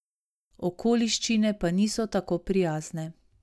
Okoliščine pa niso tako prijazne.